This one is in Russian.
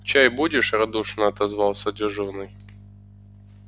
чай будешь радушно отозвался дежурный